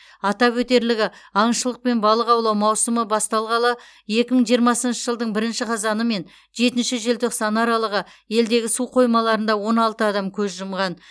атап өтерлігі аңшылық пен балық аулау маусымы басталғалы екі мың жиырмасыншы жылдың бірінші қазаны мен жетінші желтоқсаны аралығы елдегі су қоймаларында он алты адам көз жұмған